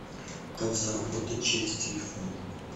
как заработать через телефон